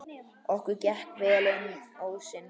Okkur gekk vel inn ósinn.